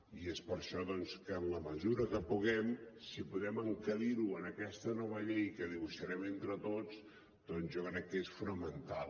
i és per això doncs que en la mesura que puguem si podem encabir ho en aquesta nova llei que dibuixarem entre tots jo crec que és fonamental